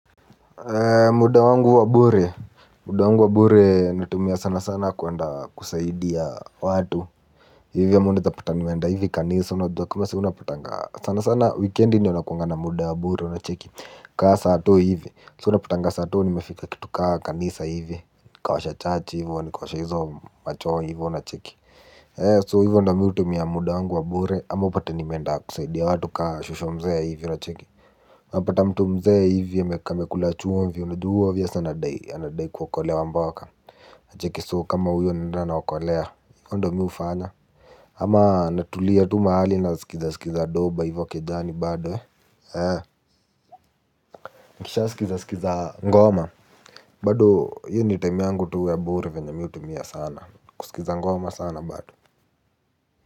Muda wangu wa bure. Muda wangu wa bure natumia sana sana kuenda kusaidia watu. Hivyo ama unaweza zapata nimeenda hivi kanisa. Unajua kama saa hii unapatanga sana sana wikendi ndiyo nakuwanga na muda ya bure unacheki. Kaa sato hivi. So unapatanga sato nimefika kitu kaa kanisa hivi. Nikaosha church hivyo. Nikaosha hizo ma choo hivyo unacheki. So hivyo ndiyo mimi hutumia muda wangu wa bure ama upate nimeenda kusaidia watu kama shosh mzee hivi unacheki. Napata mtu mzee hivi amekula chumvi unajua huyu obvious anadai kuokolewa mboka cheki so kama huyo naenda naokolea hivo ndiyo mimi hufanya. Ama natulia tu mahali nasikiza sikiza doba hivo kejani bado eh. Eee. Nikisha sikiza sikiza ngoma bado hiyo ni time yangu tu ya bure venye mimi hutumia sana kusikiza ngoma sana bado.